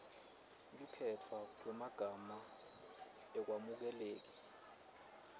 kukhetfwa kwemagama akwemukeleki